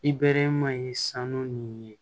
I bɛɛrɛman ye sanu nunnu ye